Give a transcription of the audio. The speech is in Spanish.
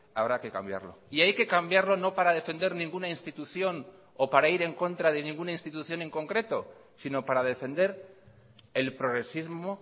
habrá que cambiarlo y hay que cambiarlo no para defender ninguna institución o para ir en contra de ninguna institución en concreto sino para defender el progresismo